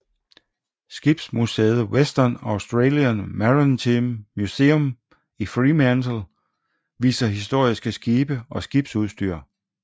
Skibsmuseet Western Australian Maritime Museum i Fremantle viser historiske skibe og skibsudstyr